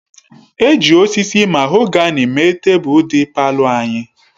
E ji osisi mahogani mee tebụl dị palọ anyị.